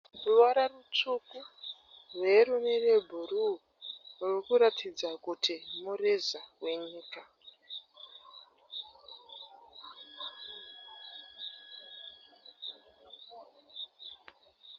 Ruvara rutsvuku rweyero nerwebhuruu rurikuratidza kuti mureza wenyika.